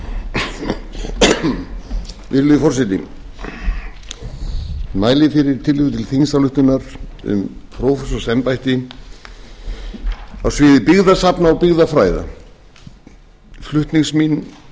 virðulegi forseti ég mæli fyrir tillögu til þingsályktunar um prófessorsembætti á sviði byggðasafna og byggðafræða flutningsmenn